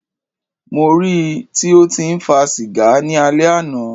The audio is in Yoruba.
Mó rí í tí o tí ń fa sìgá ni alẹ́ àná.